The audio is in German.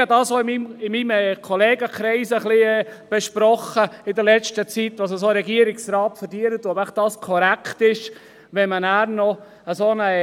Ich habe dies in letzter Zeit auch in meinem Kollegenkreis besprochen, das heisst, ob dies angesichts dessen, dass ein Regierungsrat eine solche Ruhestandsrente erhält, korrekt ist.